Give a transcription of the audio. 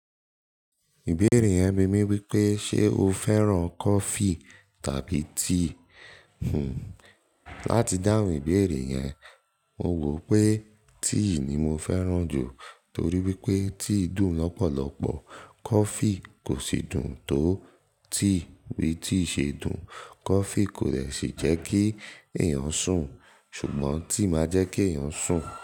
Ìbéèrè yẹn bímí wípé ṣe o fẹ́ràn coffee tàbí tea? Hmm, láti dáhùn ìbéèrè yẹn, mo wò pé tea ni mo fẹ́ràn jù torí wípé tea dùn lọ́pọ̀lọpọ̀, coffee kò sì dùn tó tea. Bí tea ṣe dùn, coffee kò lè sì jẹ́ kí ẹ̀yàn sùn, ṣùgbọ́n tea máa jẹ́ kí ẹ̀yàn sùn.